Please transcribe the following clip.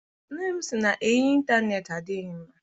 Nne m sị na enyi intaneeti adịghị mma.